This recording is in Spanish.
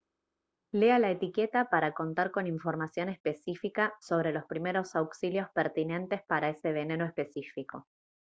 lea la etiqueta para contar con información específica sobre los primeros auxilios pertinentes para ese veneno específico